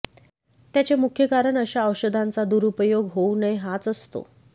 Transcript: त्याचे मुख्य कारण अशा औषधांचा दुरुपयोग होऊ नये हाच असतो